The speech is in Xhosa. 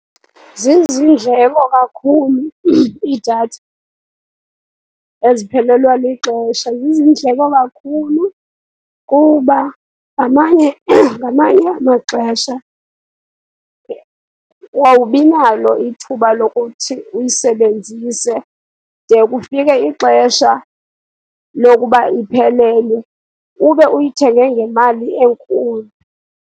Ziziindleko kakhulu iidatha eziphelelwa lixesha. Ziziindleko kakhulu, kuba ngamanye ngamanye amaxesha awubi nalo ithuba lokuthi uyisebenzise de kufike ixesha lokuba iphelelwe, ube uyithenge ngemali enkulu.